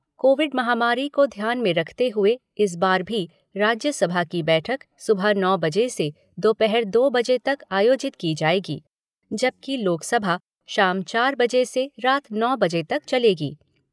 Covid महामारी को ध्यान में रखते हुए इस बार भी राज्यसभा की बैठक सुबह नौ बजे से दोपहर दो बजे तक आयोजित की जाएगी, जबकि लोकसभा शाम चार बजे से रात नौ बजे तक चलेगी।